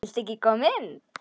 Viltu ekki koma inn?